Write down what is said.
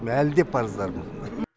әлі де парыздармын